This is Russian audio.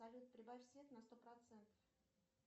салют прибавь свет на сто процентов